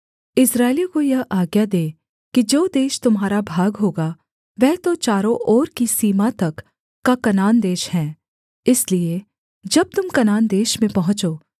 इस्राएलियों को यह आज्ञा दे कि जो देश तुम्हारा भाग होगा वह तो चारों ओर की सीमा तक का कनान देश है इसलिए जब तुम कनान देश में पहुँचो